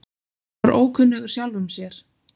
Hann var ókunnugur sjálfum sér.